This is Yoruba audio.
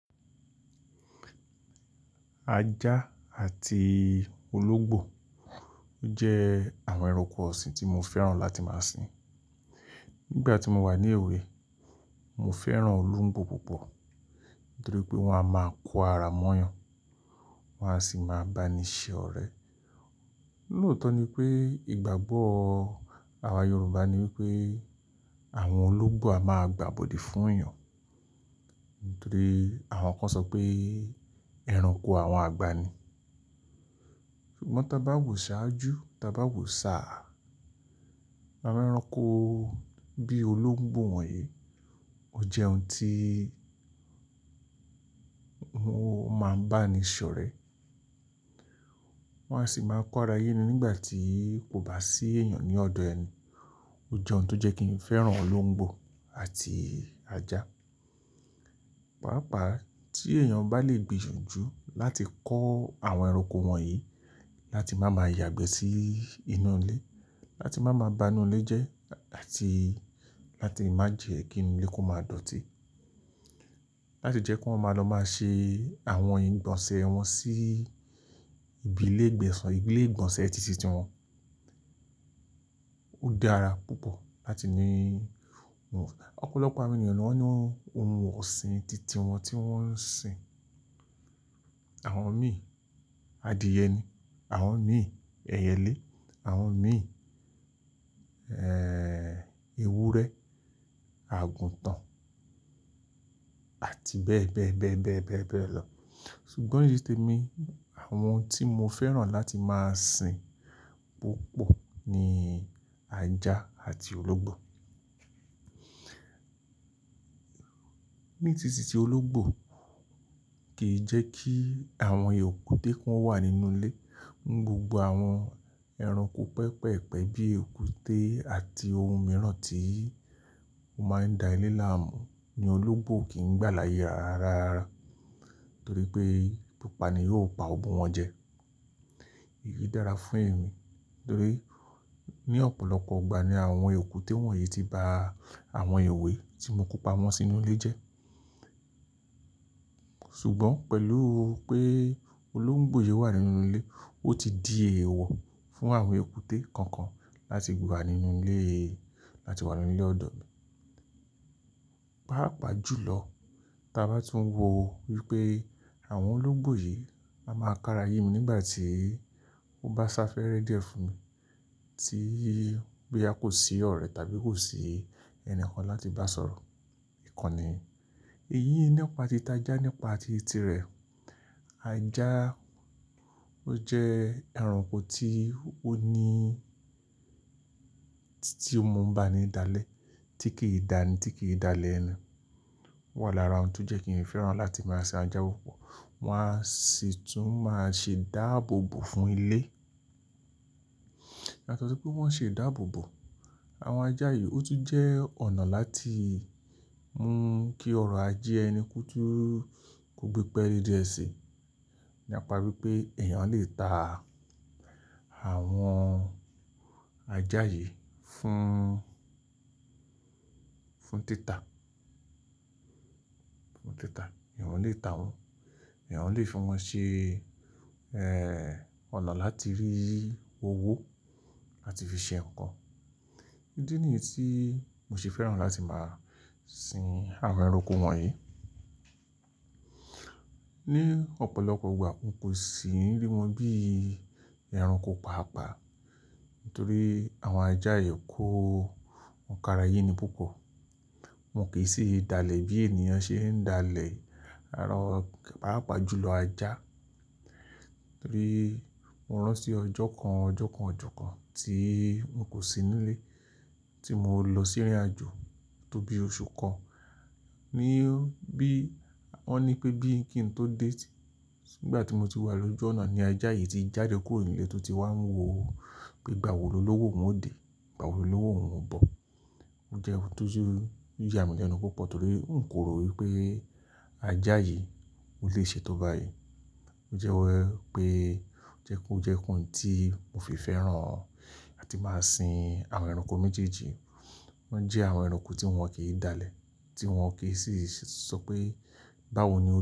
Ajá àti ológbò jẹ́ àwọn ẹranko ọ̀sìn tí mo fẹ́ràn láti máa sìn. Nígbà tí mo wà ní èwe, mo fẹ́ràn ológbò púpọ̀ nítorí pé wọ́n a máa kó ara mọ́yàn, wọ́n a sì máa bá ni ṣe ọ̀rẹ́. Lótọ́ ni pé ìgbàgbọ́ àwa Yorùbá ni wípé àwọn ológbò a máa gbàbọ̀dí fún èèyàn. Nítorí àwọn kan sọ pé ẹranko àwọn àgbà ni. Ṣùgbọ́n tá bá wo sáájú, tá bá wo sáà. Ẹranko bí ológbò wọ̀nyí, ó jẹ́ ohun tí n o máa ń bá ni ṣe ọ̀rẹ́. Wọ́n á sì máa ń kóra yé ni nígbà tí kò bá sí èèyàn ní ọ̀dọ̀ ẹni. O jẹ́ ohun tó jẹ́ kí n fẹ́ràn ológbò àti ajá. Pàápàá tí èèyàn bá le gbìyànjú láti kó àwọn ẹranko wọ̀nyí, láti má máa yàgbẹ́ sí inú ilé, láti má máa bá inú ilé jẹ́, àti láti má jẹ́ kí inú ilé kó má dọ̀tí. Láti jẹ́ kí wọ́n máa lọ máa ṣe àwọn ìgbọ̀nsẹ̀ wọn sí ibi ilé ìgbọ̀nsẹ̀ títí tiwọn. O dára púpọ̀ láti ní wọn. Ọ̀pọ̀lọpọ̀ àwọn ènìyàn ni wọ́n ní ohun ọ̀sìn titi wọn tí wọ́n ń sìn. Àwọn míì adìẹ ni, àwọn míì ẹyẹlé, àwọn míì, ẹ́ẹ́, ewúrẹ́, àgùntàn àti bẹ́ẹ̀ bẹ́ẹ̀ bẹ́ẹ̀ bẹ́ẹ̀ bẹ́ẹ̀ lọ. Ṣùgbọ́n nítorí tí èmi, àwọn tí mo fẹ́ràn láti máa sìn púpọ̀ ni ajá àti ológbò. Ní títí ti ológbò kì í jẹ́ kí àwọn ekúte kan wà nínú ilé. Inu gbogbo àwọn ẹranko pẹpẹ̀pẹ́ bíi ekúte àti ohun mìíràn tí ó máa ń da ilé láàmú ni ológbò kì í gbà láàyè ara ara. Nítorí pé pipa ni yóò pa won mu wọn jẹ. Èyí dára fún èmi torí ní ọ̀pọ̀lọpọ̀ ìgbà ni àwọn ekúte wọ̀nyí ti ba àwọn èwe tí mo kó pamọ́ sínú ilé jẹ́. Ṣùgbọ́n pẹ̀lú pé ológbò yìí wà nínú ilé, ó ti di èèwọ̀ fún àwọn ekúte kankan láti wá nínú ilé, láti wà nínú ilé ọ̀dọ̀ mi. Paapaa ju lọ, tá bá tún wò wípé àwọn ológbò yìí á máa kára yé mi nígbà tí ó bá sáfẹ́rẹ́ dẹ́ fún mi, tí bí a kò sí ọ̀rẹ́ tàbí kò sí ẹni kan láti bá sọ̀rọ̀. Ìkànnì, èyí nípàá ti ajá nípàá tìtì rẹ̀. Ajá ó jẹ́ ẹranko tí ó ní, tíì ma ń bá ni dálẹ̀ tí kì í dáni, tí kì í dálẹ̀ ẹ́ni Ó wà lára ohun tó jẹ́ kí n fẹ́ràn láti máa sìn ajá o pọ̀. Wọ́n á sì tún máa ṣe dáàbòbò fún ilé. Látọ̀rí pé wọ́n ṣe dáàbòbò, àwọn ajá yìí ó tún jẹ́ ọ̀nà láti mú kí ọ̀rọ̀ ajẹ́ ẹni ko tún gbé pẹ́lei dee sí. Ni apa bí pé èèyàn lè ta àwọn ajá yìí fún, fún títà, fún títà. Ẹ̀yàn lè ta wọn, ẹ̀yàn lè fún wọn ṣe, ọ̀nà láti rí owó láti fi ṣe nǹkan. Ídí nìyí tí mo ṣe fẹ́ràn láti máa sìn àwọn ẹranko wọ̀nyí. Ní ọ̀pọ̀lọpọ̀ ìgbà mo kò sì rí wọn bí ẹranko paapaa, nítorí àwọn ajá yìí kó ń kára yé ni púpọ̀. Wọn kì í ṣe dalẹ̀ bí èèyàn ṣe ń dalẹ̀ ẹranko, pàápàá ju lọ ajá. Torí mo rántí ọjọ́ kan, ọjọ́ kan, ọjọ́ kan tí mo kò sí nílé tí mo lọ sí ìrìnàjò tó bí oṣù kan. Ni bí, wọ́n ní pé bí kí n tó dé, nígbà tí mo ti wà lójú ọ̀nà ni ajá yìí ti jáde kúrò nílé tó ti wá ń wò ó pé gbà wò lọ lọ́wọ́ òun ó dé, gbà wò lọ lọ́wọ́ òun ó bọ̀. Ó jẹ́ ohun tó ju, ju àmì ẹnu púpọ̀ torí n kò rò wípé ajá yìí ó lè ṣe tó bá yii Ó jẹ́ ẹ́ pe, ó jẹ́ kó jẹ́ ohun tí mo fi fẹ́ràn láti máa sìn àwọn ẹranko méjèèjì. Wọ́n jẹ́ àwọn ẹranko tí wọn kì í dálẹ̀, tí wọn kì í sì sọ pé báwo ni.